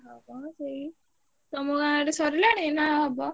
ହଁ ସେଇ ତମ ଗାଁ ଆଡେ ସରିଲାଣି ନା ହବ?